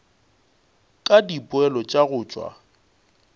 ka dipoelo tša go tšwa